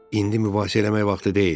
İndi mübahisə eləmək vaxtı deyil.